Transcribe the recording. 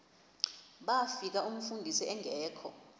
bafika umfundisi engekho